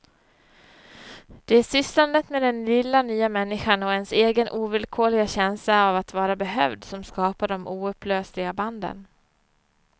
Det är sysslandet med den lilla nya människan och ens egen ovillkorliga känsla av att vara behövd, som skapar de oupplösliga banden.